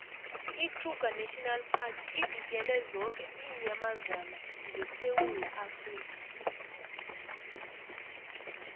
ikruger national park ivikele zoke iinyamazana zesewula afrika